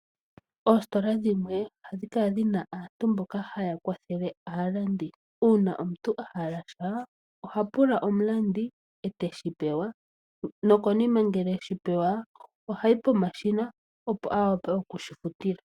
Oostola dhimwe ohadhi kala dhina aantu mboka taya kwathele aalandi. Uuna omuntu ahala sha oha pula omukwatheli eteshi pewa nokonima ngele eshi pewa ohayi pomashina opo awape okushi futila.